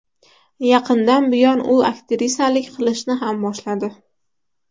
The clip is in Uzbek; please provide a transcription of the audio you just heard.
Yaqindan buyon u aktrisalik qilishni ham boshladi.